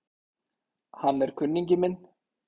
Hann er kunningi minn